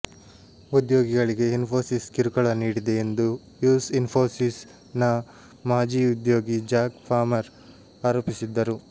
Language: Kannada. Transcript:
ಉದ್ಯೋಗಿಗಳಿಗೆ ಇನ್ಫೋಸಿಸ್ ಕಿರುಕುಳ ನೀಡಿದೆ ಎಂದು ಯುಸ್ ಇನ್ಫೋಸಿಸ್ ನ ಮಾಜಿ ಉದ್ಯೋಗಿ ಜಾಕ್ ಪಾಮರ್ ಆರೋಪಿಸಿದ್ದರು